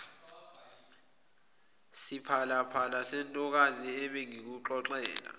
siphalaphala sentokazi ebengikuxoxela